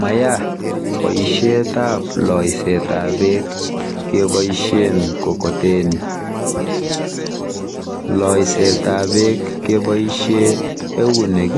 Maya boishetap loisetap beek keboishen mkokoteni. Loisetap beek keboishe eunek,